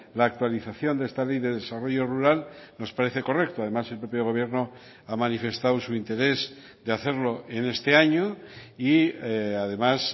la actualización de esta ley de desarrollo rural nos parece correcto además el propio gobierno ha manifestado su interés de hacerlo en este año y además